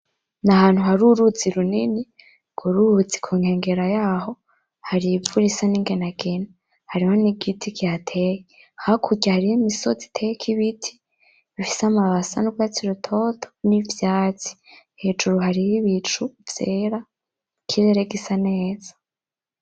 N'ahantu hari uruzi runini ,urwo ruzi kunkengera yaho har'ivu risa n'inginangina, hariho n'igiti kihateye, hakurya hariho imisozi iteyeko ibiti bifise amababi asa n'urwatsi rutoto, n'ivyatsi ,hejuru hariho Ibicu vyera ikirere gisa neza